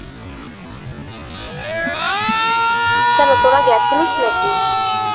কেন তোরা গেছিলিস না কি?